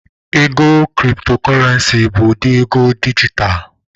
Ego Kriptokorenci bụ ụdị ego dijitalụ